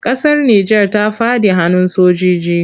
Ƙasar Nijar ta faɗa hannun sojiji.